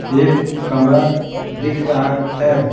एक कमरा दिख रहा है।